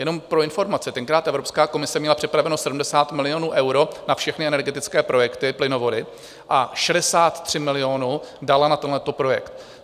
Jenom pro informaci, tenkrát Evropská komise měla připraveno 70 milionů eur na všechny energetické projekty, plynovody, a 63 milionů dala na tento projekt.